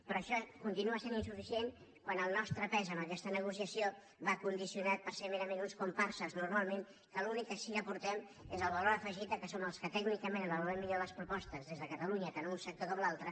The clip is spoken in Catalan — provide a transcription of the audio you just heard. però això continua sent insuficient quan el nostre pes en aquesta negociació va condicionat per ser merament uns comparses normalment que l’únic que sí que aportem és el valor afegit que som els que tècnicament avaluem millor les propostes des de catalunya tant en un sector com en l’altre